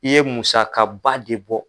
I ye musakaba de bɔ.